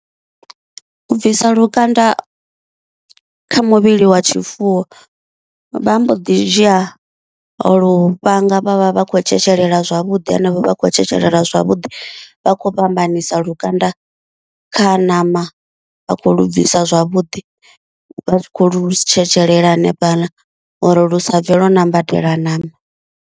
U bvisa lukanda kha muvhili wa tshifuwo vha mbo ḓi dzhia lufhanga vhavha vha khou tshetshelela zwavhuḓi henefho vha khou tshetshelela zwavhuḓi vhuḓi, vha khou fhambanyisa lukanda kha ṋama vha kho lu bvisa zwavhuḓi, vha tshi khou tshetshelela hanefhaḽa uri lu sa bve lwo nambatela ṋama.